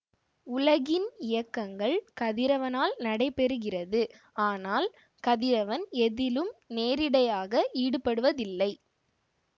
உலகின் இயக்கங்கள் கதிரவனால் நடைபெறுகிறது ஆனால் கதிரவன் எதிலும் நேரிடையாக ஈடுபடுவதில்லை